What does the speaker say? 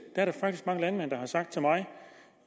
er der faktisk rigtig mange landmænd der har sagt til mig